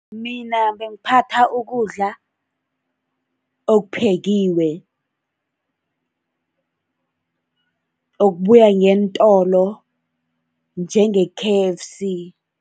Mina bengaphatha ukudla okuphekiwe, okubuya ngeentolo njenge-K_F_C.